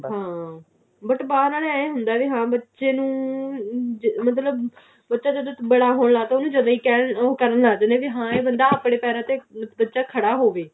ਹਾਂ but ਬਾਹਰ ਆਲੇ ਏਵੇਂ ਹੁੰਦਾ ਬੱਚੇ ਨੂੰ ਅਮ ਮਤਲਬ ਬੱਚਾ ਜਦੋਂ ਬੜਾ ਹੋਣ ਲੱਗਦਾ ਉਹਨੂੰ ਜਦੀ ਕਹਿਣ ਉਹ ਕਰਨ ਹਾਂ ਮਤਲਬ ਇਹ ਬੱਚਾ ਆਪਣੇ ਪੈਰਾਂ ਤੇ ਖੜਾ ਹੋਵੇ